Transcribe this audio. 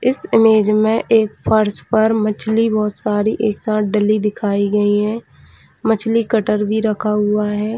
इस इमेज में एक फर्श पर मछली बहुत सारी एक साथ डली दिखाई गयी है मछली कटर भी रखा हुआ है।